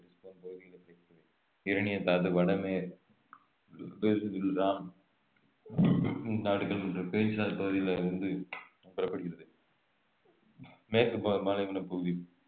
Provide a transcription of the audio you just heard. uranium தாது வடமேற்~ பகுதிகளில் இருந்து பெறப்படுகிறது மேற்கு பா~ பாலைவன பகுதி